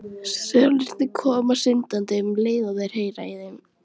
Selirnir koma syndandi um leið og þeir heyra í þeim.